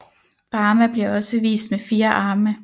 Brahma bliver også vist med fire arme